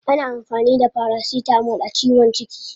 Ana amfani da paracetamol a ciwon ciki?